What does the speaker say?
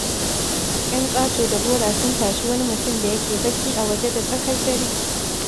Yan ƙato-da-gora sun tashi wani mutum da ya ke bacci a waje da tsakar dare.